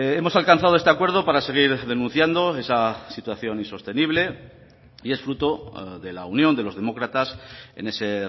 hemos alcanzado este acuerdo para seguir denunciando esa situación insostenible y es fruto de la unión de los demócratas en ese